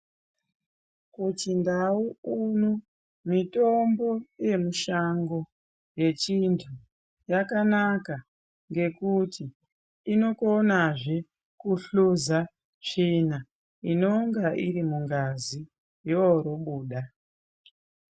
Kuchindau uno, mitombo yemushango yechintu yakanaka ngekuti inokonazve kuhluza tsvina inonge irimungazi, yorobuda.